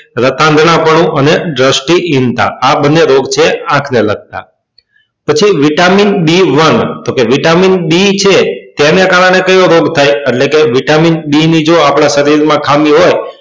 રાતાન્ગ્નાપનું અને આ બંને રોગ છે આંખ ને લગતા પછી vitamin b one તો કે vitamin b છે તેને કારણે કયો રોગ થાય એટલે કે vitamin b ની જો આપણા શ્રી માં ખામી હોય